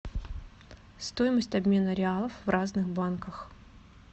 стоимость обмена реалов в разных банках